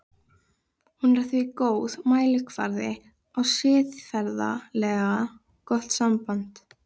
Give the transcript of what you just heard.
Hún er því góður mælikvarði á siðferðilega gott samband.